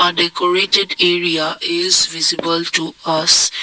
decorated area is visible to us.